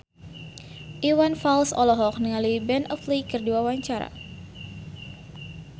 Iwan Fals olohok ningali Ben Affleck keur diwawancara